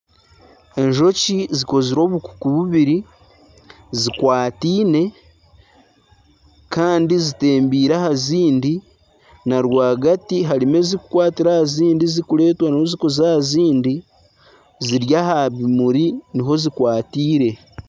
Enjoki zikozire obukuku bubiri zikwataine Kandi zitembiire aha zindi na rwagati harimu ezikukwatira aha zindi zikuretwayo zikuza aha zindi ziri aha bimuri niho zikwatiire.